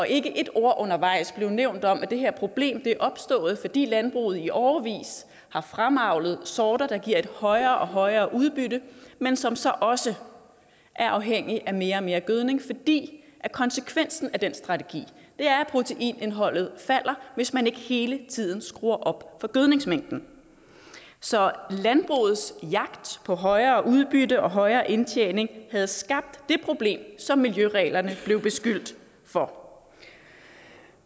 ikke et ord undervejs blev nævnt om at det her problem er opstået fordi landbruget i årevis har fremavlet sorter der giver et højere og højere udbytte men som så også er afhængige af mere og mere gødning fordi konsekvensen af den strategi er at proteinindholdet falder hvis man ikke hele tiden skruer op for gødningsmængden så landbrugets jagt på højere udbytte og højere indtjening havde skabt det problem som miljøreglerne blev beskyldt for